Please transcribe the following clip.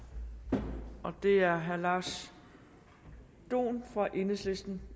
til det er herre lars dohn fra enhedslisten